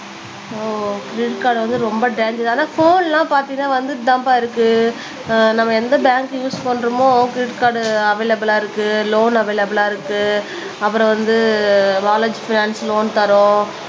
ஓ credit card வந்து ரொம்ப danger ஆனா போன் எல்லாம் பாத்தீங்கன்னா வந்துட்டுதாம்பா இருக்கு ஆஹ் நம்ம எந்த பேங்க் யூஸ் பண்றோமோ கிரெடிட் கார்டு அவைளப்பிலா இருக்கு லோன் அவைளப்பிலா இருக்கு அப்புறம் வந்து லோன் தரோம்